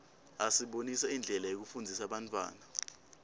asibonisa indlela yekufundzisa bantfwana